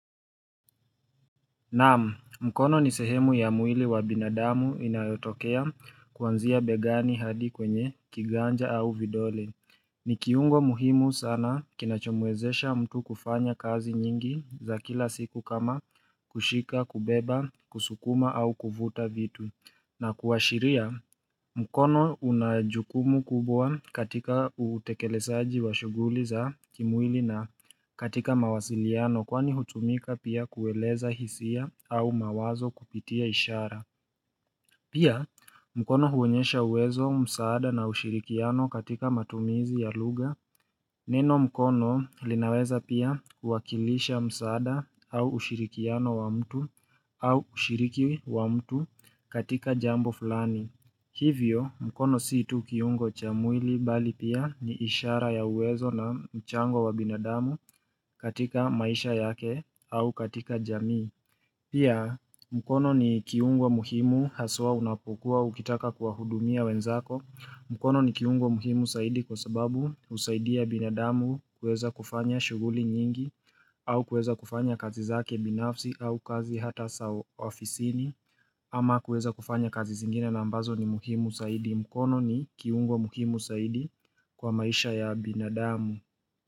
Naam, mkono ni sehemu ya mwili wa binadamu inayotokea kuanzia begani hadi kwenye kiganja au vidole. Ni kiungo muhimu sana kinachomwezesha mtu kufanya kazi nyingi za kila siku kama kushika, kubeba, kusukuma au kuvuta vitu. Na kuashiria mkono una jukumu kubwa katika utekelezaji wa shughuli za kimwili na katika mawasiliano kwani hutumika pia kueleza hisia au mawazo kupitia ishara Pia mkono huonyesha uwezo msaada na ushirikiano katika matumizi ya lugha Neno mkono linaweza pia kuwakilisha msaada au ushirikiano wa mtu au ushiriki wa mtu katika jambo fulani. Hivyo mkono si tu kiungo cha mwili bali pia ni ishara ya uwezo na mchango wa binadamu katika maisha yake au katika jamii. Pia mkono ni kiungo muhimu haswa unapokua ukitaka kuwa hudumia wenzako. Mkono ni kiungo muhimu zaidi kwa sababu husaidia binadamu kueza kufanya shughuli nyingi au kueza kufanya kazi zake binafsi au kazi hata saw ofisini ama kueza kufanya kazi zingine na ambazo ni muhimu zaidi mkono ni kiungo muhimu saidi kwa maisha ya binadamu.